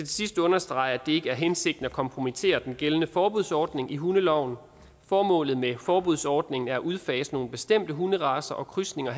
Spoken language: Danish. sidst understrege at det ikke er hensigten at kompromittere den gældende forbudsordning i hundeloven formålet med forbudsordningen er at udfase nogle bestemte hunderacer og krydsninger